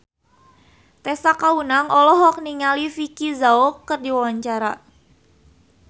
Tessa Kaunang olohok ningali Vicki Zao keur diwawancara